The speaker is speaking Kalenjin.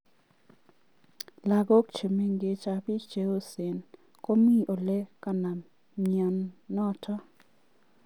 Lokok che mengechen ab bik che osen komii olee konam mya notok.